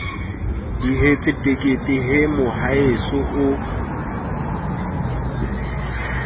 dihetse tekete he mohaeso o